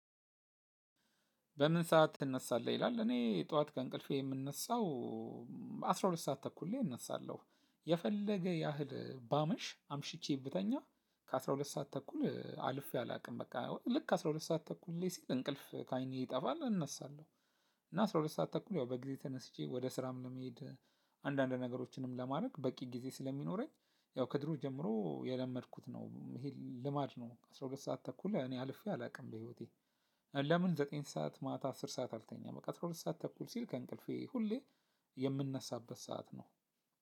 በምን ሰዓት ትነሳለህ ይላል እኔ ጥዋት ከእንቅልፌ የምነሳው አስራ ሁለት ሰዓት ተኩል ላይ እነሳለሁ። የፈለገ ያህል ባመሽ አምሽቼ ብተኛ። ከአስራ ሁለት ሰዓት ተኩል አልፌ አላውቅም በቃ ልክ አስራ ሁለት ሰዓት ተኩል ላይ ሲል እንቅልፍ ከአይኔ ይጠፋል እነሳለሁ። እና አስራ ሁለት ሰዓት ተኩል ያው በጊዜ ተነስቼ ወደ ስራም ለመሄድ። አንዳንድ ነገሮችንም ለማድረግ በቂ ጊዜ ስለሚኖረኝ ያው ከድሮ ጀምሮ የለመድኩት ነው ይሄ ልማድ ነው። አስራ ሁለት ሰዓት ተኩል እኔ አልፌ አላውቅም በህይወቴ። ለምን ዘጠኝ ሰዓት ማታ አስር ሰዓት አልተኛም። በቃ አስራ ሁለት ሰዓት ተኩል ሲል ከእንቅልፌ ሁሌ የምነሳበት ሰዓት ነው።